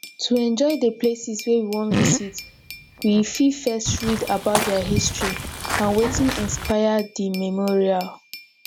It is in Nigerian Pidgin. to enjoy di places wey we wan visit we fit first read about their history and wetin inspire di memorial